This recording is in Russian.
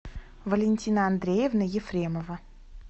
валентина андреевна ефремова